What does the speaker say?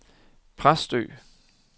Præstø